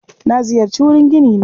Na ziyarci wurin ginina.